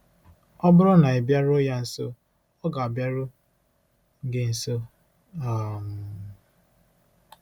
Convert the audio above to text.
Ọ bụrụ na ị bịaruo ya nso, ọ ga-abịaru gị nso. um